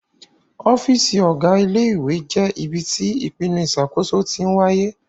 Ọ́fíìsì Ọ̀gá ilé ìwé jẹ́ ibi tí ìpinnu ìṣàkóso tí ń wáyé